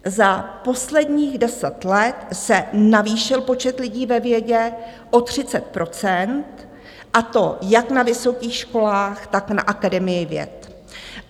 Za posledních deset let se navýšil počet lidí ve vědě o 30 %, a to jak na vysokých školách, tak na Akademii věd.